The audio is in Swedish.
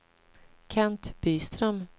Kent Byström